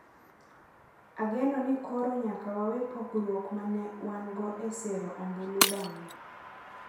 Ageno ni koro nyaka wawe pogruok ma ne wan-go e sero ombulu bang’wa